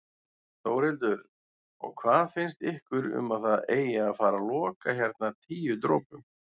Þórhildur: Og hvað finnst ykkur um að það eigi að fara loka hérna Tíu dropum?